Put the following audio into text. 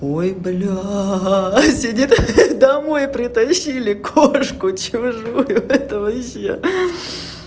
ой блядь домой притащили кошку чужую ха-ха это вообще